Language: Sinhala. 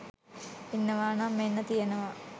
ඉන්නවානම් මෙන්න තියෙනවා